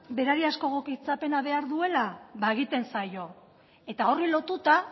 berariazko egokitzapena behar duela ba egiten zaio eta horri lotuta